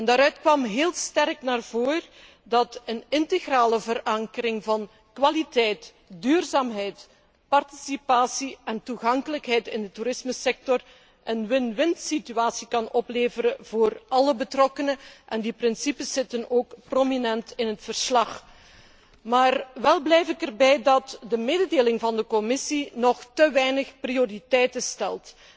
Daaruit kwam sterk naar voren dat een integrale verankering van kwaliteit, duurzaamheid, participatie en toegankelijkheid in de toerismesector een win win situatie kan opleveren voor alle betrokkenen, en die principes hebben ook een prominente plaats in het verslag. Wel blijf ik erbij dat de mededeling van de Commissie nog te weinig prioriteiten stelt.